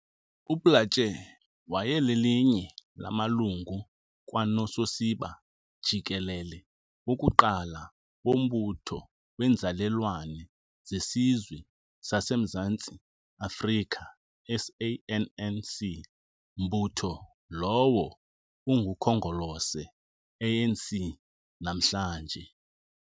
UPlaatje wayelelinye lamalungu kwanososiba jikelele wokuqala wombutho weenzalelwane zeSizwe sasemZantsi Afrika, SANNC, mbutho lowo ungukhongolose, ANC, namhlanje.